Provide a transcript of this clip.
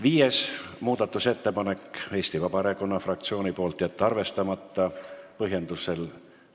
Viies muudatusettepanek on Eesti Vabaerakonna fraktsiooni tehtud, juhtivkomisjoni otsus: jätta arvestamata.